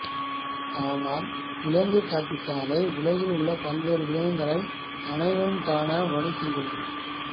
ஆனால் விலங்குக் காட்சிச்சாலை உலகில் உள்ள பல்வேறு விலங்குகளை அனைவரும் காண வழிசெய்கிறது